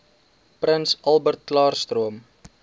prins albertklaarstroom